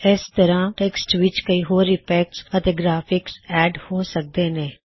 ਏਸ ਤਰਹ ਟੈੱਕਸਟ ਵਿੱਚ ਕਈ ਹੋਰ ਇਫੈਕਟਸ ਅਤੇ ਗਰਾਫਿਕਸ ਐਡ ਹੋ ਸਕਦੇ ਨੇਂ